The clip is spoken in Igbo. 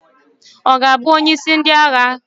Ọ ga-abụ onyeisi ndị agha?